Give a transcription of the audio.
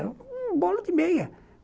Era uma bola de meia.